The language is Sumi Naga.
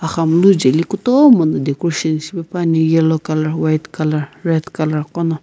xamunu jeli kutomo no decoration shipepuani yellow color white color red color .